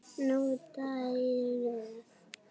Níunda í röð!